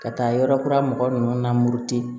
Ka taa yɔrɔ kura mɔgɔ nunnu na muruti